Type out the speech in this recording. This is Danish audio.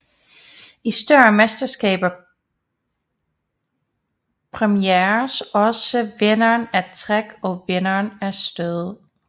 I større mesterskaber præmieres også vinderen af træk og vinderen af stød